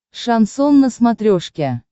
шансон на смотрешке